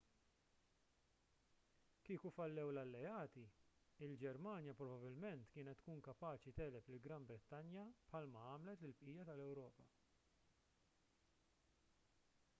kieku fallew l-alleati il-ġermanja probabbilment kienet tkun kapaċi tegħleb lill-gran brittanja bħal ma għamlet lill-bqija tal-ewropa